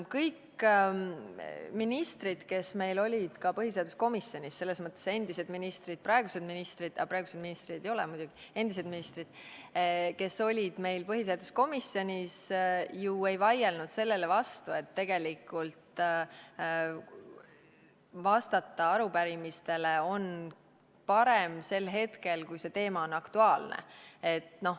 Kõik ministrid, kes meil olid põhiseaduskomisjonis, endised ministrid ja praegused ministrid – praeguseid ministreid seal muidugi ei ole –, ju ei vaielnud sellele vastu, et vastata arupärimisele on parem sel hetkel, kui teema on aktuaalne.